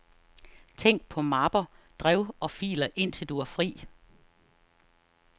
Tænk på mapper, drev og filer indtil du har fri.